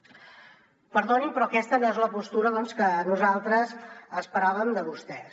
perdonin però aquesta no és la postura que nosaltres esperàvem de vostès